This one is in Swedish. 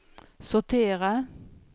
sortera